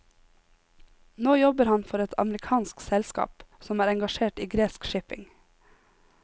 Nå jobber han for et amerikansk selskap som er engasjert i gresk shipping.